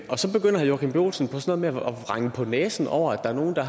er så begynder herre joachim b olsen på sådan at vrænge på næsen over at der er nogle der